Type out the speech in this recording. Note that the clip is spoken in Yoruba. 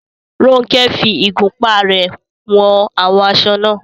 Ronke fi ìgúnpá rẹ̀ wọn àwọn aṣọ náà.